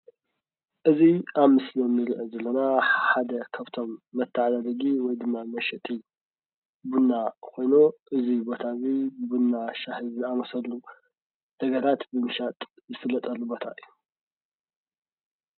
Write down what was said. እዚ ኣብ ምስሊ እንሪኦ ዘለና ሓደ ካብቶም መተዳደደጊ ወይ ድማ መሸጢ ቡና ኾይኑ እዚ ቦታ እዙይ ቡና፣ ሻሂ ዝኣመሰሉ ነገራት ንምሻጥ ዝፍለጠሉ ቦታ እዩ።